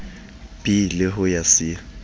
b le ho ya c